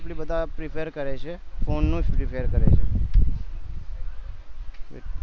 mostly બધા prefer કરે છે ફોન નું જ prefer કરે છે